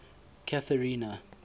catherina